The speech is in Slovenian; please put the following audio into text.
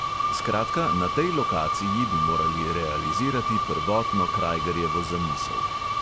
Skratka, na tej lokaciji bi morali realizirati prvotno krajgerjevo zamisel.